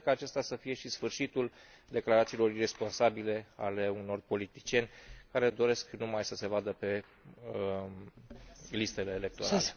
Sper ca acesta să fie și sfârșitul declarațiilor iresponsabile ale unor politicieni care doresc numai să se vadă pe listele electorale.